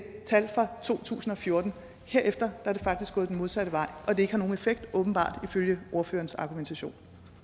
tal fra to tusind og fjorten herefter er det faktisk gået den modsatte vej og at det ikke har nogen effekt åbenbart ifølge ordførerens argumentation